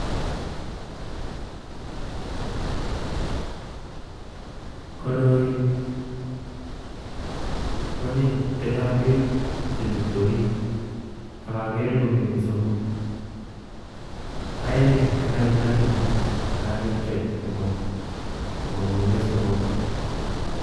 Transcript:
Koroi kwanyiny tindo beek chemiten orit ak akere kosomok aeng yekai lagini kakepchei komangunen somokuu